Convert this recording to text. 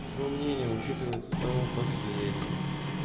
твоё мнение учитывается самым последним